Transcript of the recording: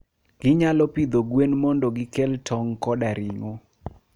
Ginyalo pidho gwen mondo gikel tong' koda ring'o.